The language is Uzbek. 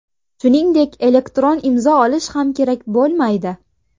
Shuningdek elektron imzo olish ham kerak bo‘lmaydi.